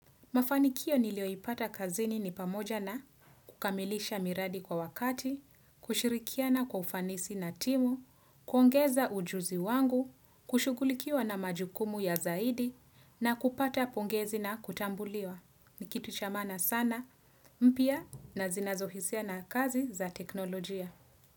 Mafanikio nilioipata kazini ni pamoja na kukamilisha miradi kwa wakati, kushirikia na kufanisi na timu, kuongeza ujuzi wangu, kushugulikia na majukumu ya zaidi na kupata pongezi na kutambuliwa. Nikitu cha maana sana mpya na zinazohisia na kazi za teknolojia.